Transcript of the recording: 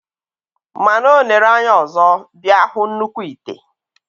Mana onere anya ọzọ, bia hu nnukw ite.